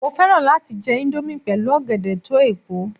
Mo fẹ́ràn láti jẹ índómì pẹ̀lú ọ̀gẹ̀dẹ̀ toepo